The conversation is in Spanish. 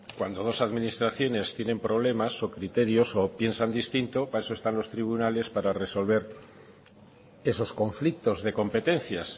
cuando dos administraciones tienen problemas o criterios o piensan distinto para eso están los tribunales para resolver esos conflictos de competencias